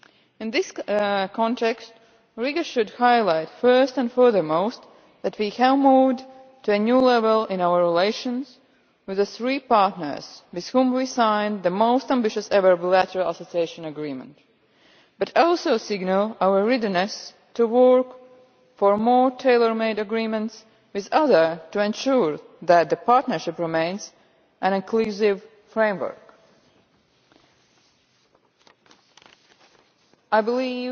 In this context, Riga should highlight first and furthermost that we have moved to a new level in our relations with the three partners with whom we have signed the most ambitious ever bilateral association agreements, but it should also signal our readiness to work for more tailor made agreements with others to ensure that the Partnership remains an inclusive framework. I believe